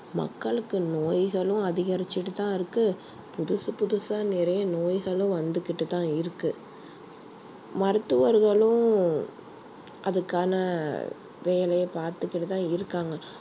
மக்களுக்கு நோய்களும் அதிகரிச்சுட்டு தான் இருக்கு புதுசு புதுசா நிறைய நோய்களும் வந்துக்கிட்டு தான் இருக்கு மருத்துவர்களும் அதுக்கான வேலையை பார்த்துக்கிட்டு தான் இருக்காங்க